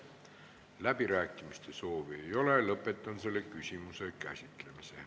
Läbirääkimiste soovi ei ole, lõpetan selle küsimuse käsitlemise.